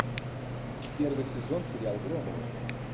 первый сезон сериал громовы